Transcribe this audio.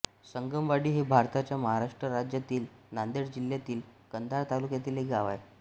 संगमवाडी हे भारताच्या महाराष्ट्र राज्यातील नांदेड जिल्ह्यातील कंधार तालुक्यातील एक गाव आहे